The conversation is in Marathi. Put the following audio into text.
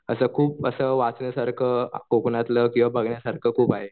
असं खूप वाचण्यासारखं कोकणातलं किंवा बघण्यासारखं खूप आहे.